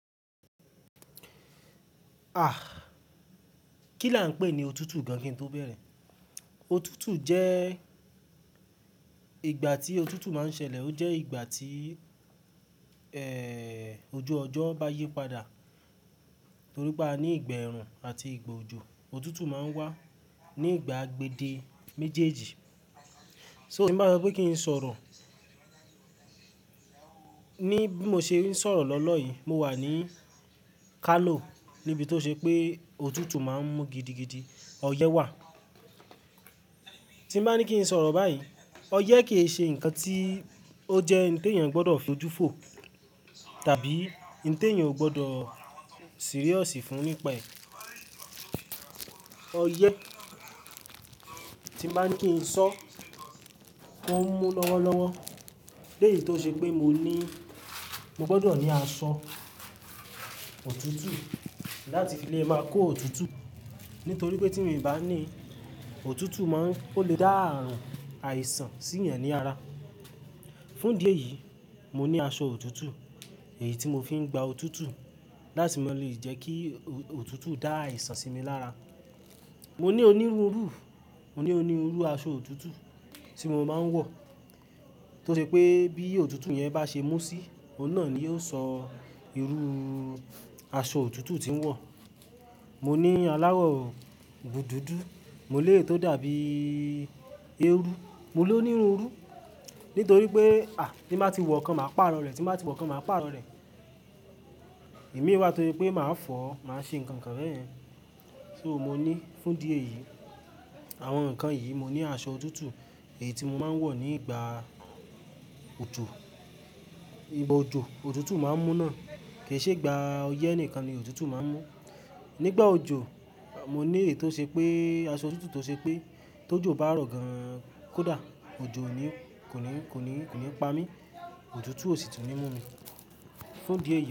Ah! Kí là ń pè ní òtútù gan kin tó bẹ̀rẹ̀? Òtútù jẹ́, ìgbà tí òtútù máa ń ṣẹlẹ̀, ó jẹ́ ìgbà tí, eh, ojú ọjọ́ bá yípadà. Torí pé a ní ìgbà ẹ̀rù àti ìgbà òjò, òtútù máa ń wà. Ní ìgbà agbèdè méjèèjì. So tí mo bá sọ pé kí n sọ̀rọ̀ ní bí mo n ṣe ń sọ̀rọ̀ lọ́lọ́ yìí, mo wà ní Kano níbi tó ṣe pé òtútù máa ń mú gidigidi ọyẹ́ wà. Tí mo bá ní kí n sọ̀rọ̀ báyìí, ọyẹ́ ke ṣe ǹkan tí ó jẹ́ n te yan gbọdọ̀ fojú fò tàbí n te yan ò gbọdọ̀ serious fún nípa ẹ̀. Ọyẹ́ tí n ba ni kí n sọ, ó ń mú lọ́wọ́lọ́wọ́. Léyìí tó ṣe pé mo ní, mo gbọdọ̀ ní aṣọ òtútù láti fi lè máa kó òtútù. Nítorí pé tí mi bá ní òtútù máa ń, ó lè dá àrùn àìsàn sí yẹn ní ara. Fún díẹ̀ yìí, mo ní aṣọ òtútù èyí tí mo fi ń gba òtútù láti máa lè jẹ́ kí òtútù dá àìsàn sí mi lára. Mo ní onírúurú, mo ní onírúurú aṣọ òtútù tí mo máa ń wọ̀. Tó ṣe pé bí òtútù yẹn bá ṣe mú síi, òun náà ni yóò sọ irú aṣọ òtútù tí ń wọ̀. Mo ní aláwọ̀ bù dúdú, mo ní èyí tó dàbí eérú, mo ní onírúurú. Nítorí pé, à, tí n ba ti wọ kan, màá pàrọ̀ rẹ̀, tí n ba ti wọ kan, màá pàrọ̀ rẹ̀. Ìmi wá tó se pé màá fọ̀ọ́, màá ṣe ǹkan kan beyen. So mo ní fún díẹ̀ yìí àwọn ǹkan yìí, mo ní aṣọ òtútù èyí tí mo máa ń wọ̀ nígbà òjo. Ìgbà òjò, òtútù máa ń mú náà. Kì í ṣe ìgbà ọyẹ́ nìkan ni òtútù máa ń mú. Nígbà òjò, mo ní èyí tó ṣe pé aṣọ òtútù tó ṣe pé tó jò bá rọ̀ gan kó dà, òjò ò ní, kò ní, kò ní, kò ní pa mí. Òtútù ó sì tún ni mú mi. Fún dí eyi.